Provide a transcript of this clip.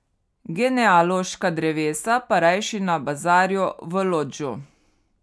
Genealoška drevesa pa rajši na bazarju v Lodžu.